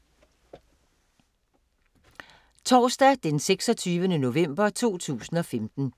Torsdag d. 26. november 2015